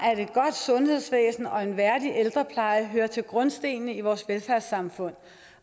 sundhedsvæsen og en værdig ældrepleje hører til grundstenene i vores velfærdssamfund